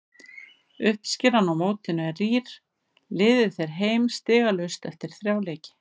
Uppskeran á mótinu er rýr, liðið fer heim stigalaust eftir þrjá leiki.